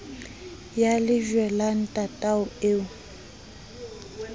ya lejwe la ntatao eo